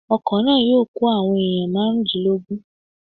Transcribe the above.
Ọkọ̀ náà yóò kó àwọn èèyàn márùndínlógún